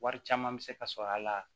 Wari caman bɛ se ka sɔrɔ a la